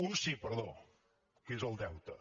un sí perdó que és el deute